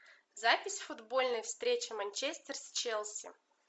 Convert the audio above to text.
запись футбольной встречи манчестер с челси